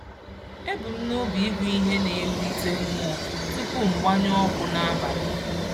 Ebu m n'obi ịgụ ihe na-ewulite mmụọ tupu m gbanyụọ ọkụ n'abalị.